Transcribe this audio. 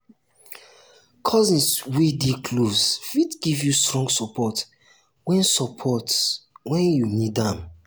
cousins wey dey close fit give you strong support when support when you need am.